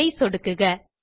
அதை சொடுக்குக